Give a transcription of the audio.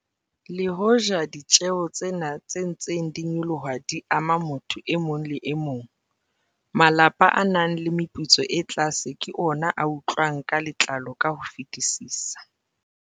Le hoja ditjeho tsena tse ntseng di nyoloha di ama motho e mong le e mong, malapa a nang le meputso e tlase ke ona a utlwang ka letlalo ka ho fetisisa.